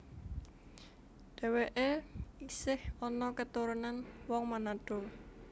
Dhèwèké isih ana keturunan wong Manado